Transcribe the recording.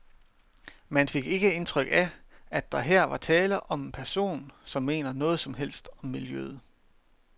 Man fik ikke indtryk af, at der her var tale om en person, som mener noget som helst om miljøet.